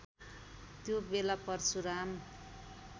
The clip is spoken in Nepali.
त्यो बेला परशुराम